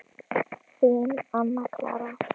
Þín, Anna Clara.